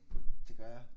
Det gør jeg